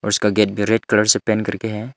उसका गेट भी red colour से पेंट करके है।